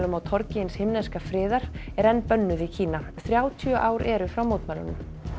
á torgi hins himneska friðar er enn bönnuð í Kína þrjátíu ár eru frá mótmælunum